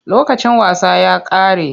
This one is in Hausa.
Lokacin wasa ya ƙare.